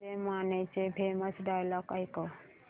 धनंजय मानेचे famous dialogue ऐकव